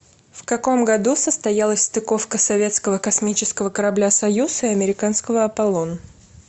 в каком году состоялась стыковка советского космического корабля союз и американского аполлон